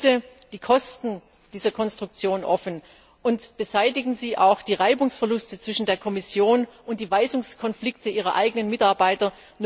Legen Sie bitte die Kosten dieser Konstruktion offen und beseitigen Sie auch die Reibungsverluste zwischen der Kommission und die Weisungskonflikte Ihrer eigenen Mitarbeiter.